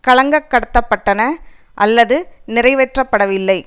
காலங்கடத்தப்பட்டன அல்லது நிறைவேற்றப்படவில்லை